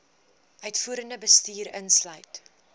uitvoerende bestuur insluit